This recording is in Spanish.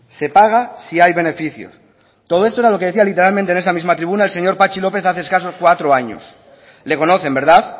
se paga si hay beneficios todo esto era lo que decía literalmente en esta misma tribuna el señor patxi lópez hace escasos cuatro años le conocen verdad